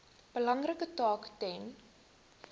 belangrike taak ten